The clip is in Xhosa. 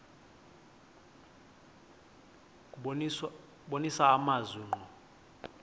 kubonisa amazwi ngqo